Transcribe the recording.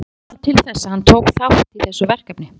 En hvað varð til þess að hann tók þátt í þessu verkefni?